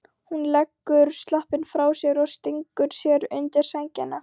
Hún leggur sloppinn frá sér og stingur sér undir sængina.